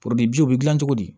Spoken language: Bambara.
bi u bɛ gilan cogo di